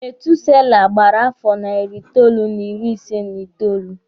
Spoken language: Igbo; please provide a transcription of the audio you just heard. Methuselah gbara afọ nari itoolu n'iri isi n'itoolu.